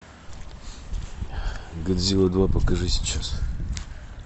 годзилла два покажи сейчас